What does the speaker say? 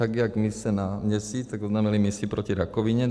Tak jak mise na Měsíc, tak oznámili misi proti rakovině.